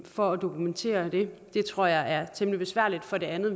for at dokumentere det det tror jeg er temmelig besværligt for det andet